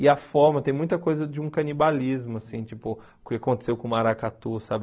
E a forma, tem muita coisa de um canibalismo, assim, tipo, o que aconteceu com o maracatu, sabe?